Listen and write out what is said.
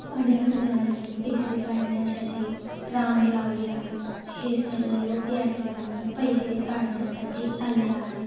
अनेक ज़नानी पैसे काढण्यासाठी रांग लावली आहे हे सर्व लोक या ठिकाणी पैसे काढण्यासाठी आले आहे.